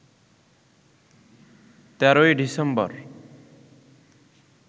১৩ই December